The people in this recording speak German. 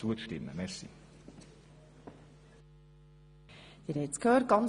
Zu Kontrollzwecken müssen darin auch Angaben zu effektiven Ausgaben und Einkünften gemacht werden.